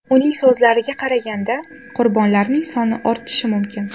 Uning so‘zlariga qaraganda, qurbonlarning soni ortishi mumkin.